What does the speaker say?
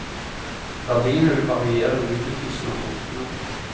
Verdiene vil variere med utnyttelsen av tomtene.